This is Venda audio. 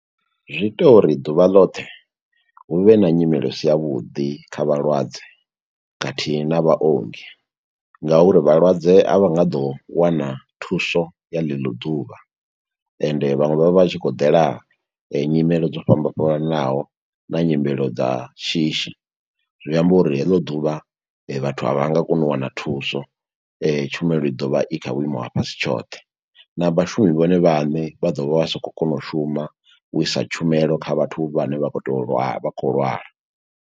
Zwi ita uri ḓuvha ḽoṱhe, hu vhe na nyimele i si ya vhuḓi kha vhalwadze, khathihi na vhaongi nga uri vhalwadze a vha nga ḓo wana thuso ya ḽeḽo ḓuvha, ende vhaṅwe vha vha vha tshi khou ḓela nyimele dzo fhambananaho, na nyimelo dza shishi. Zwi amba uri heḽo ḓuvha vhathu a vha nga koni u wana thuso tshumelo i ḓovha i kha vhuimo ha fhasi tshoṱhe, na vhashumi vhone vhaṋe vha ḓo vha vha sa khou kona u shuma, u isa tshumelo kha vhathu vhane vha khou to lwa, vha khou lwala.